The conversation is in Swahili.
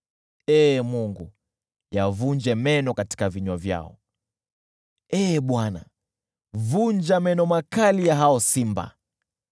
Ee Mungu, yavunje meno katika vinywa vyao; Ee Bwana , vunja meno makali ya hao simba!